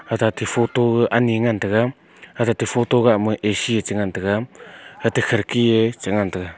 ajate photo ani ngan taiga ajate photo gahma A_C e chengan taiga ate khirki e chengan taiga.